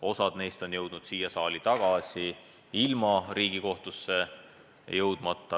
Osa neist on jõudnud siia saali tagasi ilma Riigikohtusse jõudmata.